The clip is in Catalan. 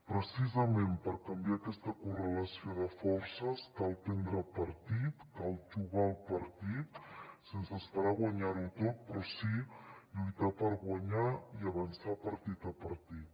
precisament per canviar aquesta correlació de forces cal prendre partit cal jugar el partit sense esperar guanyar ho tot però sí lluitar per guanyar i avançar partit a partit